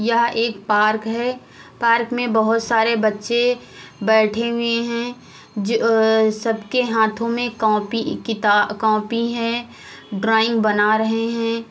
यह एक पार्क है। पार्क में बहुत सारे बच्चे बैठे हुए हैं जो अ सबके हाथों में कॉपी किता कॉपी हैं। ड्राइंग बना रहे हैं।